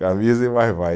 Camisa e vai-vai.